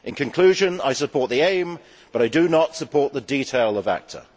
In conclusion, I support the aim but I do not support the detail of ACTA.